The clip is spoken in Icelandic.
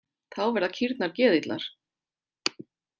Þá verða kýrnar geðillar.